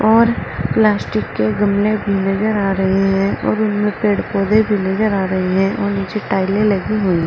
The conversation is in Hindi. और प्लास्टिक के गमले भी नजर आ रहे हैं और उनमें पेड़-पौधे भी नजर आ रही है और नीचे टाइलें लगी हुई --